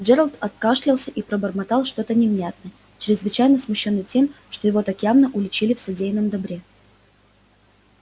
джералд откашлялся и пробормотал что-то невнятное чрезвычайно смущённый тем что его так явно уличили в содеянном добре